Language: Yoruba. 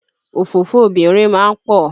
Òfófó obìnrin ma ń pọ̀.